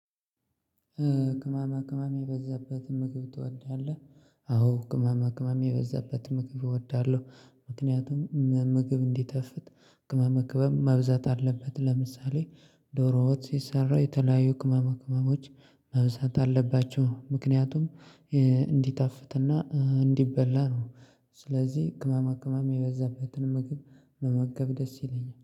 ቅመማ ቅመም የበዛበት ምግብ ትወዳለህ? አዎ ቅማማ ቅማም የበዛበትን ምግብ እወዳለሁ፤ ምክንያቱም ምግብ እንዲጣፍጥ ቅመማ ቅመም መብዛት አለበት ለምሳሌ ዶሮ ወጥ ሲሰራ የተለያዩ ቅመማ ቅመሞች መብዛት አለባቸው ምክንያቱም እንዲጣፍጥ እንዲበላ ነው ስለዚህ ቅመማ ቅመም የበዛበትን ምግብ መመገብ ደስ ይለኛል።